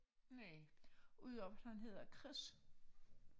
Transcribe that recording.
Næ ud over at han hedder Chris